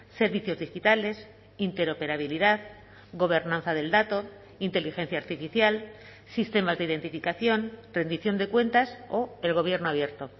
servicios digitales interoperabilidad gobernanza del dato inteligencia artificial sistemas de identificación rendición de cuentas o el gobierno abierto